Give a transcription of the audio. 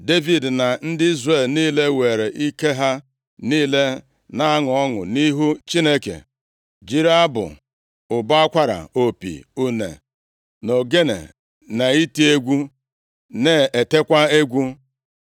Devid na ndị Izrel niile weere ike ha niile na-aṅụ ọṅụ nʼihu Chineke, jiri abụ, ụbọ akwara, opi, une na ogene na iti egwu na-etekwa egwu.